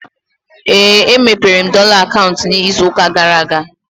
Éè, e mepere m dọla akaụntụ ịzụ ụka gara aga